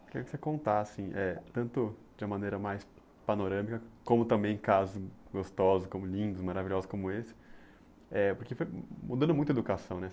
Queria que você contasse, eh tanto de uma maneira mais panorâmica, como também em casos gostosos, como lindos, maravilhosos como esse, eh porque foi mudando muito a educação, né?